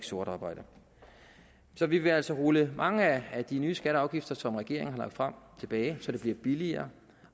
sort arbejde så vi vil altså rulle mange af de nye skatter og afgifter som regeringen har lagt frem tilbage så det bliver billigere